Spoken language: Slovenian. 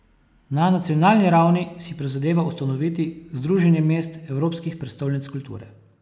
Na nacionalni ravni si prizadeva ustanoviti Združenje mest Evropskih prestolnic kulture.